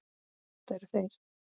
Þetta eru þeir.